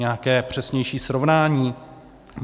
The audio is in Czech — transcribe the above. Nějaké přesnější srovnání?